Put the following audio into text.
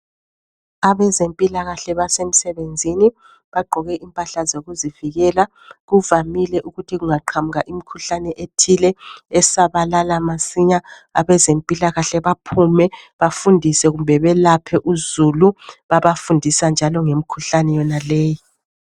Abezempilakahle basemsebezini bagqoke impahla zokuzivikela kuvamile ukuthi kunga qhamuka imikhuhlane ethile esabalala masinya abezempilakahle baphume bafundise kumbe belaphe uzulu babafundisa njalo ngemikhuhlane yonaleyi.